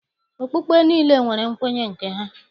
Okpukpe niile nwere nkwenye nke ha.